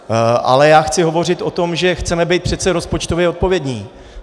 Ale já chci hovořit o tom, že chceme být přece rozpočtově odpovědní.